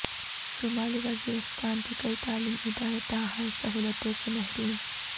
شمالی وزیرستان کے کئی تعلیمی ادارے تاحال سہولتوں سے محروم